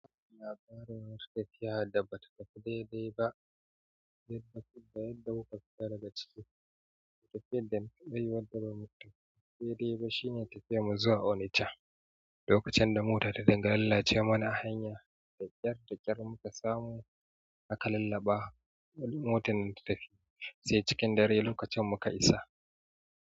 Labarin wani tafiya da ba ta tafi daidai ba, yadda muka fita daga ciki, da tafiyar da muka yi wadda ba mu tafi daidai ba shine tafiyar mu zuwa Onacha. Lokacin da mota ta dinga lallace mana a hanya, da ƙyar da ƙyar muka samu aka lallaɓa motar nan da tafiya, sai cikin dare lokacin muka isa.